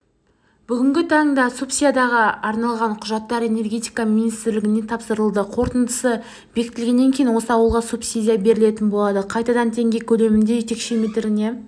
бүгінгі таңда субсидияға арналған құжаттар энергетика министрлігіне тапсырылды қорытындысы бекітілгеннен кейін осы ауылға субсидия берілетін болады қайтадан теңге көлемінде текше метріне